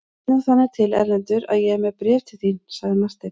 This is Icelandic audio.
Það vill nú þannig til Erlendur að ég er með bréf til þín, sagði Marteinn.